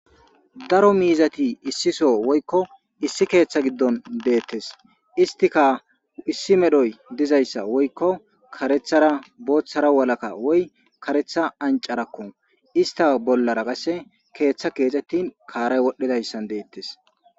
Daro miizati issiso woykko issi keeththa giddon deettes istika issi medhoy dizayssa woykko karethara booththara walakka woy karetha ancarakko ista bollara qasse keeththa keexxettin kaaray wodhdhidayssan deettes.